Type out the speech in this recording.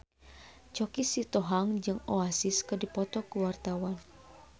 Choky Sitohang jeung Oasis keur dipoto ku wartawan